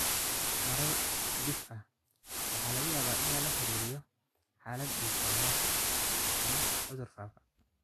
Marar dhif ah, waxaa laga yaabaa in lala xiriiriyo xaalad dhiig oo hoose ama cudur faafa.